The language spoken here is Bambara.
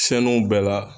Siyɛnniw bɛɛ la